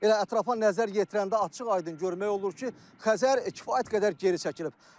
Elə ətrafa nəzər yetirəndə açıq-aydın görmək olur ki, Xəzər kifayət qədər geri çəkilib.